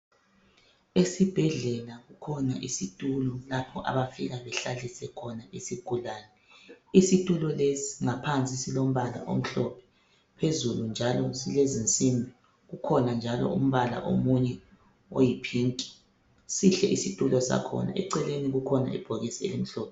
Esibhedlela kukhona izitulo lapha abafika behlalise khona isigulane. Isitulo lesi ngaphansi silombala pala omhlophe phezulu njalo silezi nsimbi kukhona njalo umbala omunye oyipink sihle isitulo sakhona eceleni kukhona ibhokisi elimhlophe.